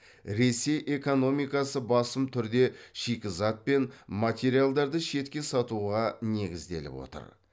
ресей экономикасы басым түрде шикізат пен материалдарды шетке сатуға негізделіп отыр